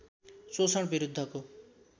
शोषण विरुद्धको